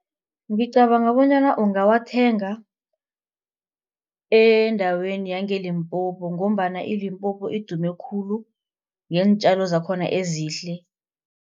Ngicabanga bonyana ungawathenga endaweni yangeLimpopo ngombana iLimpopo idume khulu ngeentjalo zakhona ezihle.